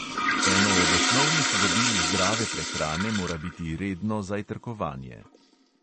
Eno od osnovnih vodil zdrave prehrane mora biti redno zajtrkovanje.